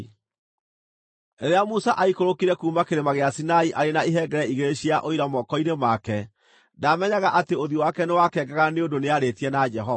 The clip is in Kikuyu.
Rĩrĩa Musa aikũrũkire kuuma kĩrĩma gĩa Sinai arĩ na ihengere igĩrĩ cia Ũira moko-inĩ make, ndaamenyaga atĩ ũthiũ wake nĩwakengaga nĩ ũndũ nĩarĩtie na Jehova.